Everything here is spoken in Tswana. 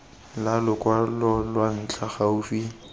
la lokwalo lwa ntlha gaufi